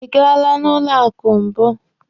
Ị gaala na banki mbụ?